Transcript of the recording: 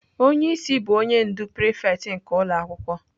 Onye isi bụ onye ndu prịfects nke ụlọ akwụkwọ.